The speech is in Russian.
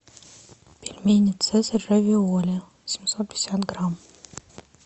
пельмени цезарь равиоли семьсот пятьдесят грамм